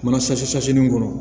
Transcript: Mana kɔnɔ